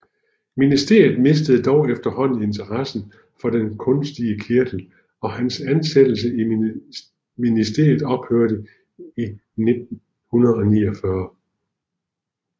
Ministeriet mistede dog efterhånden interessen for den kunstige kirtel og hans ansættelse i ministeriet ophørte i 1949